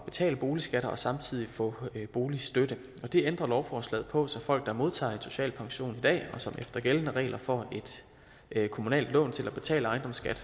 betale boligskatter og samtidig få boligstøtte det ændrer lovforslaget på så folk der modtager en social pension i dag og som efter gældende regler får et kommunalt lån til at betale ejendomsskat